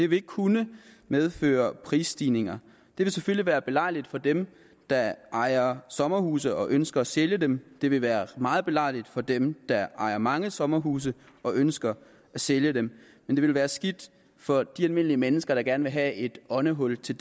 vil kunne medføre prisstigninger det vil selvfølgelig være belejligt for dem der ejer sommerhuse og ønsker at sælge dem det vil være meget belejligt for dem der ejer mange sommerhuse og ønsker at sælge dem men det vil være skidt for de almindelige mennesker der gerne vil have et åndehul til